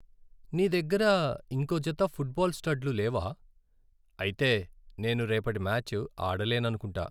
నీ దగ్గర ఇంకో జత ఫుట్బాల్ స్టడ్లు లేవా? అయితే నేను రేపటి మ్యాచ్ ఆడలేననుకుంటా.